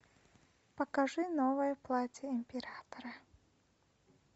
покажи новое платье императора